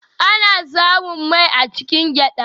Ana samun mai a cikin gyada.